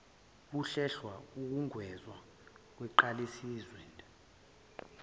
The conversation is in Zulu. kuhlelelwa ukwengezwa kwenqgalasizinda